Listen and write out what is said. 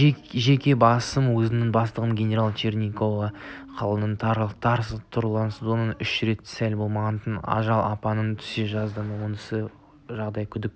жеке басым өзімнің бастығым генерал чернигова қылының тұрлаусыздығынан үш рет сәл болмағанда ажал апанына түсе жаздадым осы жағдай күдік